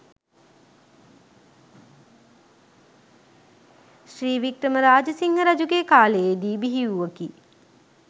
ශ්‍රී වික්‍රම රාජසිංහ රජුගේ කාලයේ දී බිහිවූවකි.